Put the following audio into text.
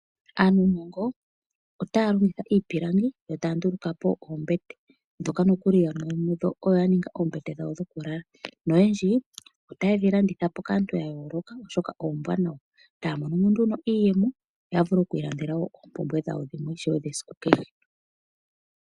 Aanuunongo otaya longitha iipilangi yo taya nduluka po oombete ndhoka nokuli yamwe yomuyo odho ya ninga oombete dhawo dhoku lala. Noyendji otaye dhi landitha po kaantu ya yooloka oshoka ombwaanawa. Taya mono mo nduno iiyemo ya vule wo oku i landela oompumbwe dhawo ishewe dha siku kehe.